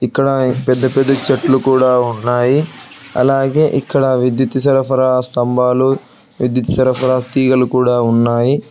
ఇక్కడ పెద్ద పెద్ద చెట్లు కూడా ఉన్నాయి అలాగే ఇక్కడ విద్యుత్ సరఫరా స్తంభాలు విద్యుత్ సరఫరా తీగలు కూడా ఉన్నాయి.